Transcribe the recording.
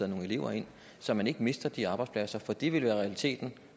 nogle elever ind og så man ikke mister de arbejdspladser for det vil være realiteten